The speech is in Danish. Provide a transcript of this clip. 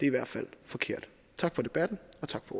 i hvert fald forkert tak for debatten